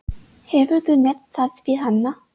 Hefurðu nefnt það við hana?